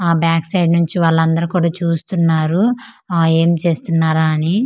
ఆ back side నుంచి వాళ్ళందరు కుడ చూస్తున్నారు ఆ ఏంచేస్తున్నార అని.